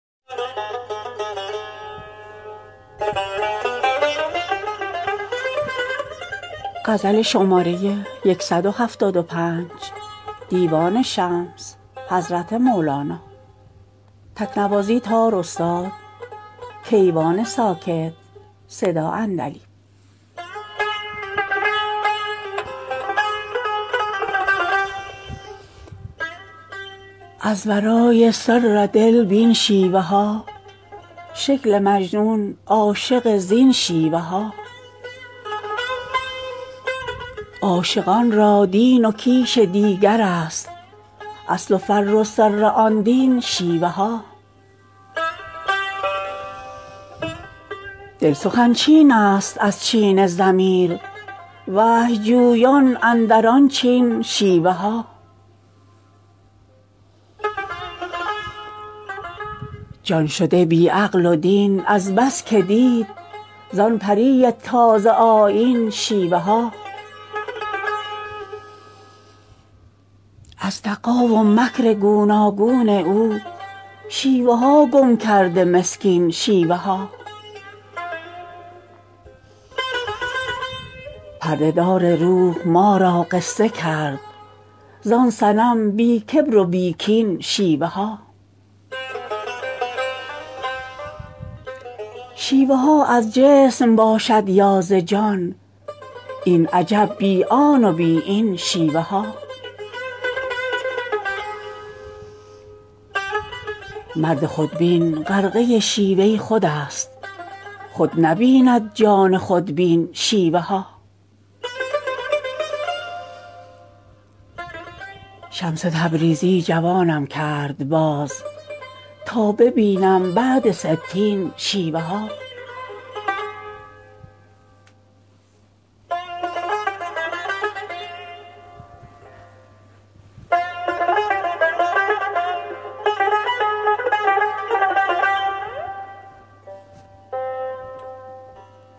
از ورای سر دل بین شیوه ها شکل مجنون عاشقان زین شیوه ها عاشقان را دین و کیش دیگرست اصل و فرع و سر آن دین شیوه ها دل سخن چینست از چین ضمیر وحی جویان اندر آن چین شیوه ها جان شده بی عقل و دین از بس که دید زان پری تازه آیین شیوه ها از دغا و مکر گوناگون او شیوه ها گم کرده مسکین شیوه ها پرده دار روح ما را قصه کرد زان صنم بی کبر و بی کین شیوه ها شیوه ها از جسم باشد یا ز جان این عجب بی آن و بی این شیوه ها مرد خودبین غرقه شیوه خودست خود نبیند جان خودبین شیوه ها شمس تبریزی جوانم کرد باز تا ببینم بعد ستین شیوه ها